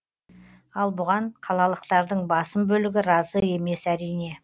ал бұған қалалықтардың басым бөлігі разы емес әрине